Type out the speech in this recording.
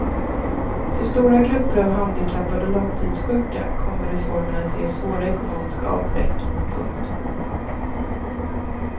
För stora grupper av handikappade och långtidssjuka kommer reformen att ge svåra ekonomiska avbräck. punkt